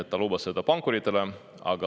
Ta lubas seda pankuritele.